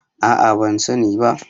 a a ban sani ba